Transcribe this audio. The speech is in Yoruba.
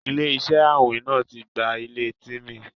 Ilẹ̀-iṣẹ àwìn náà tí gbà ilẹ̀ Tímí.